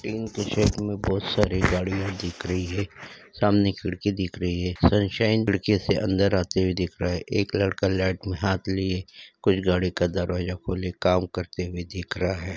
Pink t shirt में बहोत सारी गाड़ियां दिख रही हैं सामने खिड़की दिख रही है सन साइन खिड़की से अन्दर आते हुए दिख रहा है एक लड़का लैट में हाथ लिये कुछ गाडी का दरवाजा खोले काम करते हुए देख रहा है।